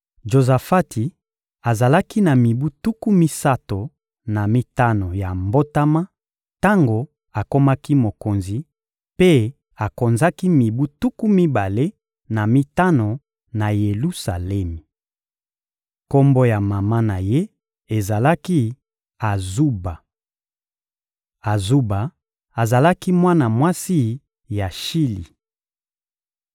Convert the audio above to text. Jozafati azalaki na mibu tuku misato na mitano ya mbotama tango akomaki mokonzi, mpe akonzaki mibu tuku mibale na mitano na Yelusalemi. Kombo ya mama na ye ezalaki «Azuba.» Azuba azalaki mwana mwasi ya Shili.